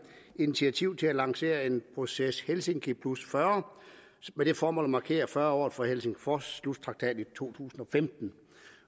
initiativ til at lancere en proces helsinki40 med det formål at markere fyrre året for helsingforsslutakten i to tusind